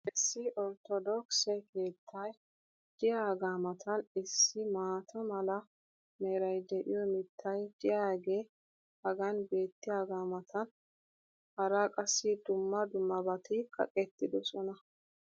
Issi orttodookkisse keettay diyaagaa matan issi maata mala meray de'iyo mitay diyaagee hagan beetiyaagaa matan hara qassi dumma dummabati kaqqettidosona.